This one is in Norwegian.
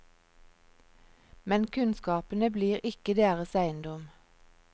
Men kunnskapene blir ikke deres eiendom.